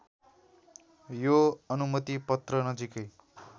यो अनुमतिपत्र नजिकै